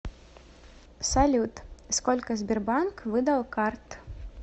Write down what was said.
салют сколько сбербанк выдал карт